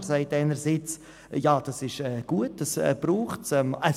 Dieser sagt, es sei alles gut und die Mittel könnten schon heute beantragt werden.